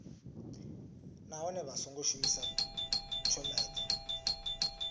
nahone vha songo shumisa tshomedzo